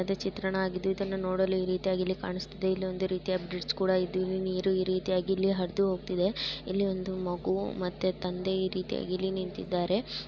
ಇದು ಚಿತ್ರಣ ಆಗಿದ್ದು ಇದನ್ನು ನೋಡಲು ನೀಟಾ ಗಿ ಇಲ್ಲಿ ಕಾಣಿಸುತ್ತದೆ. ಇಲ್ಲೊಂದು ರೀತಿಯ ಬ್ರಿಡ್ಜ್ ಕೂಡ ಇದ್ದು. ಇಲ್ಲಿ ನೀರು ಈ ರೀತಿಯಾಗಿ ಇಲ್ಲಿ ಹರಿದು ಹೋಗ್ತಿದೆ. ಇಲ್ಲಿ ಒಂದು ಮಗು ಮತ್ತೆ ತಂದೆ ಈ ರೀತಿಯಾಗಿ ಇಲ್ಲಿ ನಿಂತಿದ್ದಾರೆ.